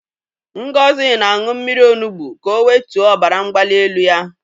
Ngozi na-aṅụ mmiri onugbu ka o wetuo obara mgbali elu ya.